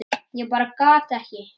Ég bara gat ekki.